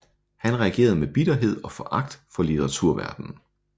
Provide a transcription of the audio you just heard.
Han reagerede med bitterhed og foragt for litteraturverdenen